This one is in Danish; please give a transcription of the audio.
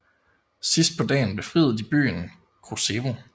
Sidst på dagen befriede de byen Kruševo